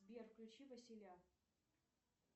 сбер включи василя